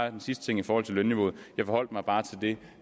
en sidste ting i forhold til lønniveauet jeg forholdt mig bare til det